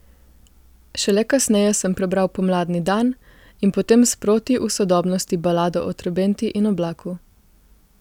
Šele kasneje sem prebral Pomladni dan in potem sproti v Sodobnosti Balado o trobenti in oblaku.